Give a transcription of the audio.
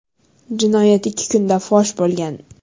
Jinoyat ikki kunda fosh bo‘lgan.